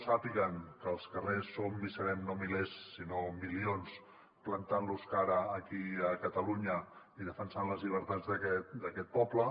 sàpiguen que als carrers som i serem no milers sinó milions plantant los cara aquí a catalunya i defensant les llibertats d’aquest poble